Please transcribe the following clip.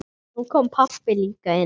Nú kom pabbi líka inn.